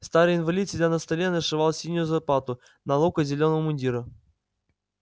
старый инвалид сидя на столе нашивал синюю заплату на локоть зелёного мундира